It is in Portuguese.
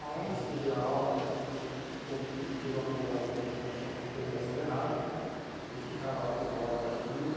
Ah, é? Às vezes você perdia a aula até, porque cumpriu fez uma uma uma determinação determinação errada e ficava lá por uma hora de castigo.